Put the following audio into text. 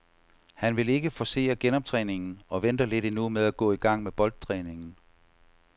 Han vil ikke forcere genoptræningen og venter lidt endnu med at gå i gang med boldtræningen.